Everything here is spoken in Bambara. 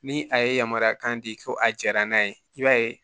Ni a ye yamaruya kan di ko a jɛra n'a ye i b'a ye